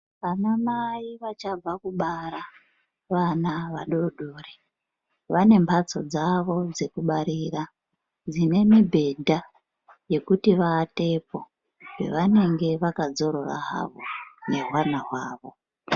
Anamai achabva kubara nevana vadodori vane mhatso dzavo dzekubarira. Dzine mibhedha yekuti avatepo pavanenge vakadzorora havo nehwana hwavo.